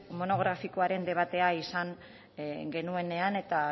monografikoaren debatea izan genuenean eta